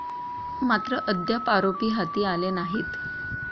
मात्र, अद्याप आरोपी हाती आले नाहीत.